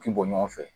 K'i bɔ ɲɔgɔn fɛ